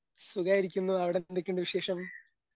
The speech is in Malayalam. സുഖായിരിക്കുന്നു അവിടെന്തൊക്കിണ്ട് വിശേഷം.